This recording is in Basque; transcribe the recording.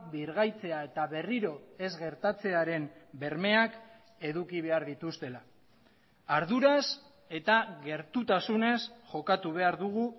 birgaitzea eta berriro ez gertatzearen bermeak eduki behar dituztela arduraz eta gertutasunez jokatu behar dugu